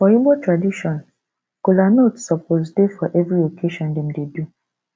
for igbo tradition kolanut suppose dey for every occassion dem dey do